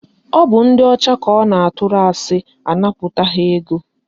Ọ bụ ndị ọcha ka ọ na-atụrụ asị anapụta ha ego